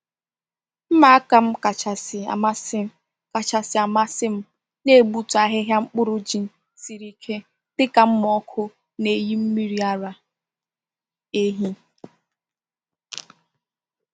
Mma aka m kachasị amasị kachasị amasị m na-egbutu ahịhịa mkpụrụ ji siri ike dịka mma ọkụ na-eyi mmiri ara ehi.